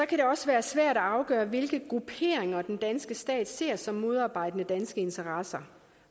kan også være svært at afgøre hvilke grupperinger den danske stat ser som modarbejdende danske interesser